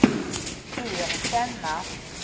erkänna